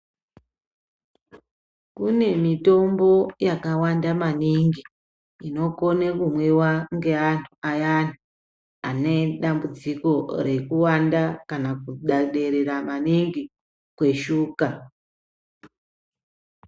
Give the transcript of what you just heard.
Kune mitombo yakawanda maningi inokone kumwiwa ngeantu ayani ane dambudziko rekukwira kana kuderera maningi kweshuga.